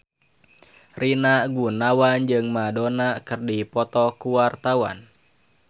Rina Gunawan jeung Madonna keur dipoto ku wartawan